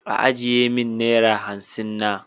Ajiye min naira hansin na.